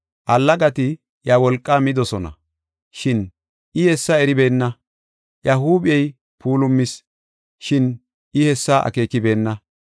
Allagati iya wolqaa midosona, shin I hessa eribeenna; iya huuphey puulumis, shin I hessa akeekibena.